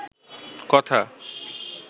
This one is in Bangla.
কথা